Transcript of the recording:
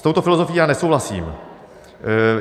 S touto filozofií já nesouhlasím.